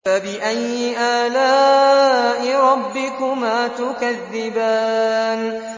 فَبِأَيِّ آلَاءِ رَبِّكُمَا تُكَذِّبَانِ